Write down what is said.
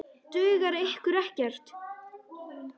Dugar ykkur ekkert?